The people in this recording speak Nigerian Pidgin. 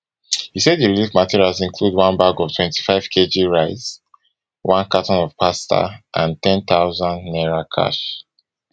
e say di relief materials include one bag of twenty-fivekg of rice one carton of pasta and n ten thousand cash